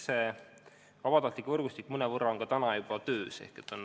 See vabatahtlike võrgustik mõnevõrra töötab juba praegu.